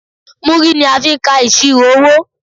Múrí ni a fi n ka ìṣirò owó